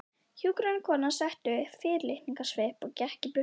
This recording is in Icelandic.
Hjúkrunarkonan setti upp fyrirlitningarsvip og gekk í burtu.